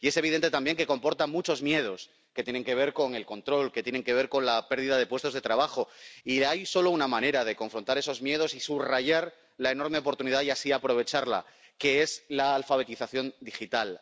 y es evidente también que comporta muchos miedos que tienen que ver con el control, que tienen que ver con la pérdida de puestos de trabajo, y hay solo una manera de confrontar esos miedos y subrayar la enorme oportunidad, y así aprovecharla, que es la alfabetización digital.